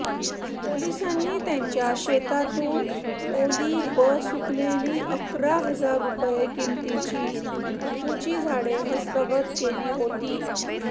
पोलिसांनी त्यांच्या शेतातून ओली व सुकलेली अकरा हजार रुपये किमतीची अफूची झाडे हस्तगत केली होती